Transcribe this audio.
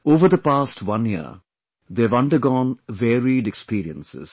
Over the past one year, they have undergone varied experiences